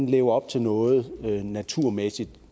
lever op til noget naturmæssigt